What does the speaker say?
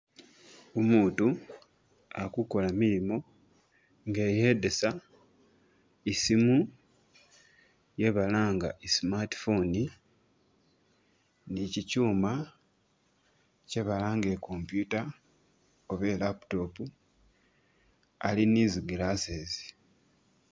Umutu akukola milimo nga eyedesa isimu iye balanga i'smart phone ni chikyuma kye balanga I'computer oba i'laptop, ali ni zi glasses